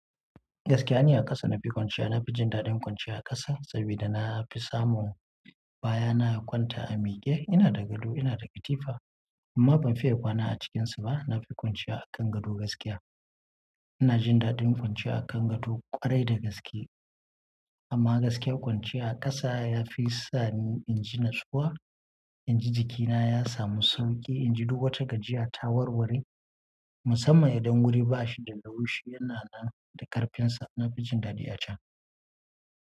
Gaskiya, ni a ƙasa na fi ƙwanciya. Na fi jin daɗin kwanciya a ƙasa saboda na fi samun baya. Na kwanta a miƙe, ina da gado, ina da katifa amma ban fiye kwana a cikinsu ba. Na fi ƙunciya a kan gado gaskiya. In na jin daɗin kwanciya a kan gado kwarai da gaske amma gaskiyar kwanciya a ƙasa ya fi sani inji natsuwa, inji jikina ya samu sauƙi, inji duk wata gajiya ta warware musamman idan wuri ba shi da laushi yana nan da karfinsa. Na fi jin daɗi a can.